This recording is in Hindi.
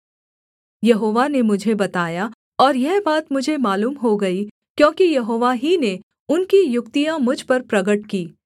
यहोवा ने मुझे बताया और यह बात मुझे मालूम हो गई क्योंकि यहोवा ही ने उनकी युक्तियाँ मुझ पर प्रगट की